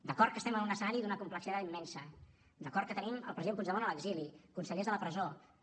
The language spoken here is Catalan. d’acord que estem en un escenari d’una complexitat immensa d’acord que tenim el president puigdemont a l’exili consellers a la presó que